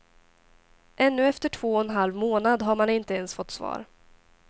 Ännu efter två och en halv månad har man inte ens fått svar.